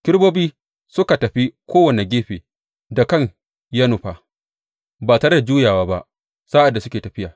Kerubobin suka tafi kowane gefen da kan ya nufa, ba tare da juyawa ba sa’ad da suke tafiya.